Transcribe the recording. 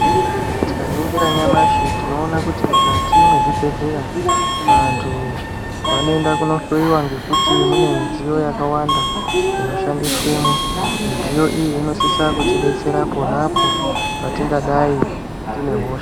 Tikaningira nyamashi tinoona kuti mukati mezvibhedleya vantu vanoenda kunohloyiwa ngekuti midziyo yakawanda inoshandiswemwo, midziyo iyi inosise kutidetsera ponapo patingadai tine hosha.